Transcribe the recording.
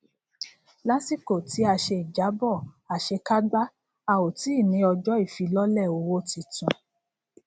lásìkò tí a ṣe ìjábọ àṣekágbá a ò tí ní ọjọ ifilọlẹ owó titun